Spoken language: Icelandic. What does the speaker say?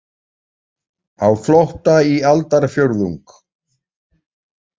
Á flótta í aldarfjórðung